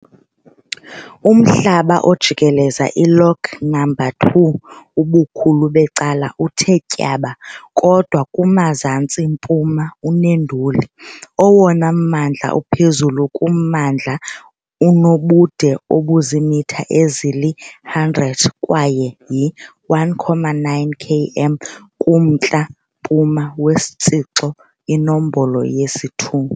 Umhlaba ojikeleze i-Lock Number 2 ubukhulu becala uthe tyaba, kodwa kumzantsi-mpuma uneenduli. Owona mmandla uphezulu kummandla unobude obuziimitha ezili-100 kwaye yi-1.9 km kumntla-mpuma weTshixo iNombolo yesi-2.